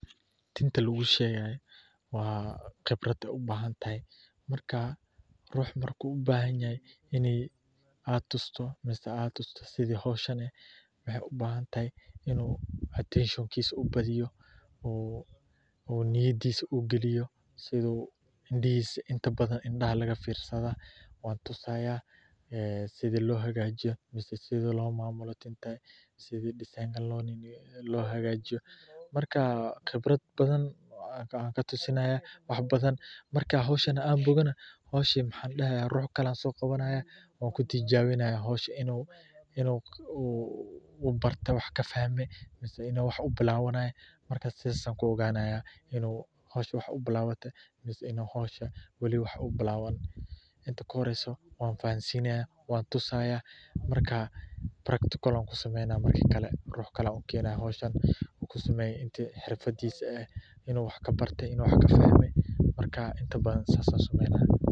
Tinta lagu shegayo qibraad ayey ubahantahay marku u bahanyahay in aad tusto sithi hoshani waxee u bahan tahay in attention kisa u niyadisa u galiyo indihisa inta badan indaha laga firiya waa la tusa sitha lo hagajiyo sitha lo mamulo tinta sitha disan lo sameyo lo hagajiyo marka waxan halkan katusinaya wax badan marka howshan an bogana maxan dahaya dan kale ayan so qawanaya wan kutijawinaya howsha in u barte wax ka fahme mase in u wax u bilawanay sas ayan ku oganaya in ee wax u bilawate mase wali u bilawani inta ka horeyso wan tusaya marka practical ayan ku sameynaya howshan inta xifradis ah marka sas ayan sameyneya.